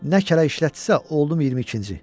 Nə kələk işlətdisə, oldum 22-ci.